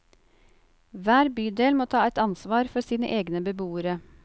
Hver bydel må ta et ansvar for sine egne beboere.